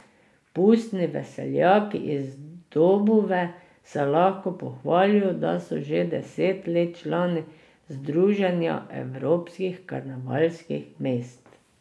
Pustni veseljaki iz Dobove se lahko pohvalijo, da so že deset let člani Združenja evropskih karnevalskih mest.